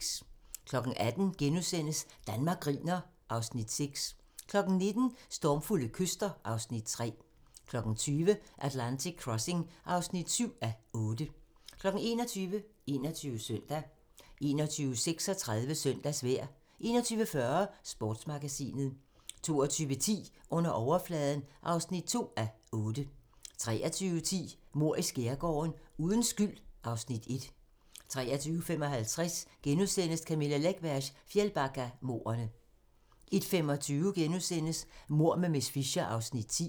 18:00: Danmark griner (Afs. 6)* 19:00: Stormfulde kyster (Afs. 3) 20:00: Atlantic Crossing (7:8) 21:00: 21 Søndag 21:36: Søndagsvejr 21:40: Sportsmagasinet 22:10: Under overfladen (2:8) 23:10: Mord i Skærgården: Uden skyld (Afs. 1) 23:55: Camilla Läckbergs Fjällbackamordene * 01:25: Mord med miss Fisher (10:13)*